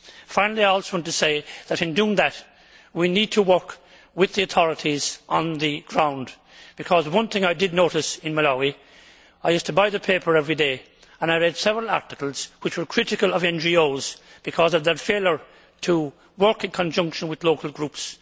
Finally, I also want to say that, in doing that, we need to work with the authorities on the ground. One thing I did notice in Malawi I used to buy the paper every day, and I read several articles which were critical of NGOs because of their failure to work in conjunction with local groups.